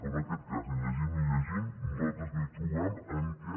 però en aquest cas ni llegint ni llegint nosaltres no hi trobem en què